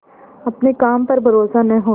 अपने काम पर भरोसा न होना